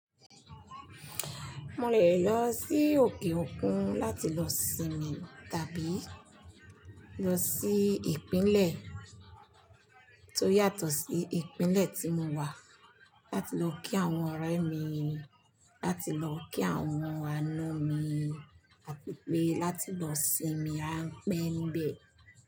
Mo lè lọ sí òkè òkun láti lọ sinmi tàbí lọ sí ìpínlẹ̀ tó yàtọ̀ sí ìpínlẹ̀ tí mo wà láti lọ kí àwọn ọ̀rẹ́ mi, láti lọ kí àwọn àna mi àti pé láti lọ sinmi apẹ́nbẹ̀